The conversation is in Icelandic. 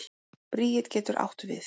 Bríet getur átt við